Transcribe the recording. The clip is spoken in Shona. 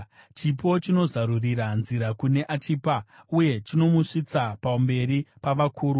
Chipo chinozarurira nzira kune achipa, uye chinomusvitsa pamberi pavakuru.